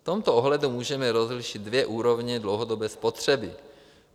V tomto ohledu můžeme rozlišit dvě úrovně dlouhodobé spotřeby.